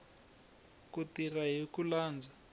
ku tirha hi ku landza